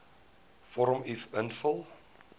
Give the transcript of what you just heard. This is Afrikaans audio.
vorm uf invul